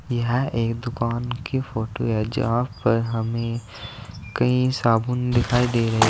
यह एक दुकान की फोटो हैं जहां पर हमें कई साबुन दिखाई दे रहे हैं।